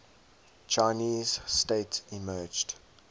chinese state emerged